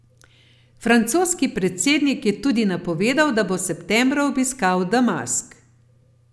Francoski predsednik je tudi napovedal, da bo septembra obiskal Damask.